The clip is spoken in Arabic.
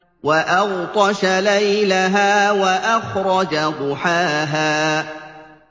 وَأَغْطَشَ لَيْلَهَا وَأَخْرَجَ ضُحَاهَا